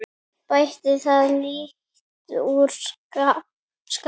Bætti það lítt úr skák.